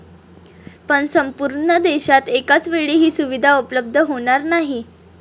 पण संपूर्ण देशात एकाचवेळी ही सुविधा उपलब्ध होणार नाही.